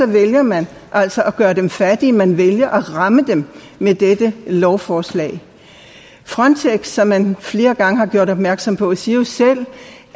vælger man altså at gøre dem fattige man vælger at ramme dem med dette lovforslag frontex som man flere gange har gjort opmærksom på siger jo selv